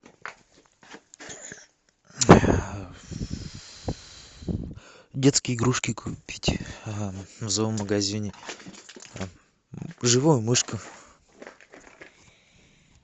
детские игрушки купить в зоомагазине живую мышку